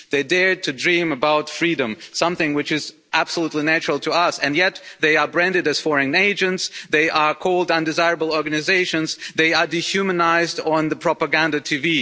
They dared to dream about freedom something which is absolutely natural to us and yet they are branded as foreign agents, they are called undesirable organisations, and they are dehumanised on the propaganda TV.